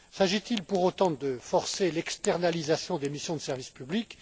S'agit il pour autant de forcer l'externalisation des missions de service